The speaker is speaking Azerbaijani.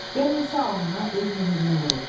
Qəm isə alnına öz möhrünü vurub.